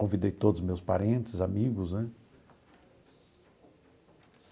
Convidei todos os meus parentes, amigos, né?